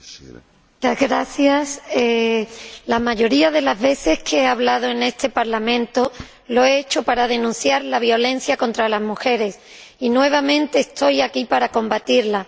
Señor Presidente, la mayoría de las veces que he hablado en este Parlamento lo he hecho para denunciar la violencia contra las mujeres, y nuevamente estoy aquí para combatirla.